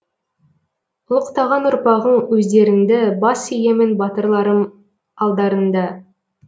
ұлықтаған ұрпағың өздеріңді бас иемін батырларым алдарыңда